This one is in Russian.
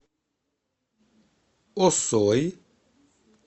осой